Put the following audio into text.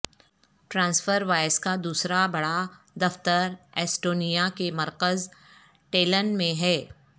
transfer wise کا دوسرا بڑا دفتر ایسٹونیا کے مرکز ٹیلن میں ہے